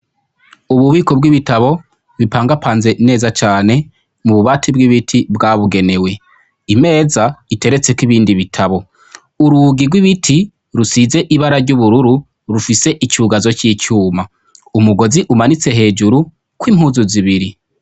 Ububiko bw'ibitabo ,bipangapanze neza cane, mububati bw'ibiti bwabugenewe. Imeza iterets'ikibindi bitabo, urugi rw'ibiti rusize ibara ry'ubururu rufise icugazo c'icuma, umugozi umanutse hejuru kw'impuzu zibiri.